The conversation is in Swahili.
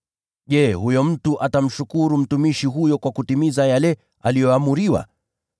Je, huyo mtu atamshukuru mtumishi huyo kwa kutimiza yale aliyoamriwa?